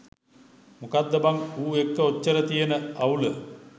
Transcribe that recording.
මොකක්ද බන් ඌ එක්ක ඔච්චර තියන අවුල